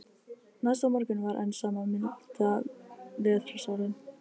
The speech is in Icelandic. Næsta morgun var enn sama milda vetrarsólin.